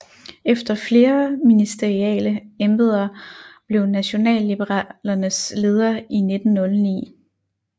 Efter flere ministeriale embedder blev han Nationalliberalernes leder i 1909